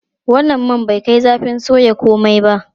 Wannan man bai kai zafin soya komai ba.